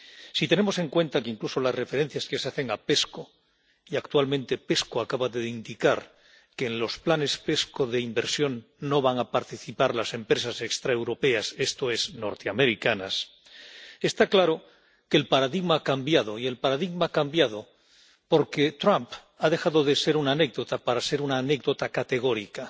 Si tenemos en cuenta incluso las referencias que se hacen a la CEP y que actualmente la CEP acaba de indicar que en los planes CEP de inversión no van a participar las empresas extraeuropeas, esto es, norteamericanas, está claro que el paradigma ha cambiado, y el paradigma ha cambiado porque Trump ha dejado de ser una anécdota para ser una anécdota categórica.